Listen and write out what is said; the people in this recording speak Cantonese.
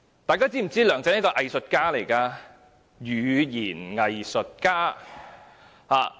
大家是否知道梁振英是一位語言"偽術家"？